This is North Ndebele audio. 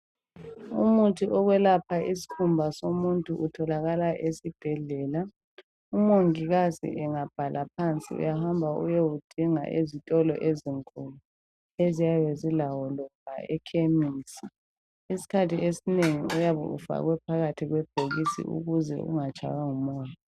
Umuthi wokwelapha isikhumba somuntu utholàkala esibhedlela. Umongikazi angabhala phansi uyahamba uyewudinga ezitolo ezinkulu eziyabe zilawo loba ekhemesi. Isikkhathi esinengi uyabe ufakwe phakathi kwebhokisi ukuze ungatshaywa ngumoya.